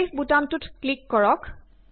save বুতামটোত click কৰক